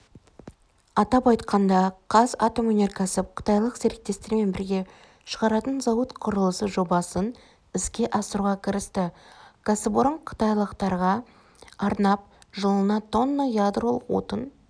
атап айтқанда қазатомөнеркәсіп қытайлық серіктестермен бірге шығаратын зауыт құрылысы жобасын іске асыруға кірісті кәсіпорын қытайлық терге арнап жылына тонна ядролық отын